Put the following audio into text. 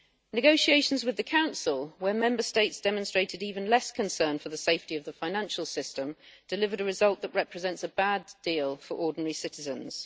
Negotiations with the Council, where Member States demonstrated even less concern for the safety of the financial system, delivered a result that represents a bad deal for ordinary citizens.